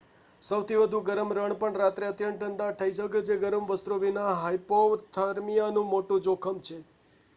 સૌથી વધુ ગરમ રણ પણ રાત્રે અત્યંત ઠંડા થઈ જઈ શકે છે ગરમ વસ્ત્રો વિના હાઇપોથર્મિયાનું મોટું જોખમ છે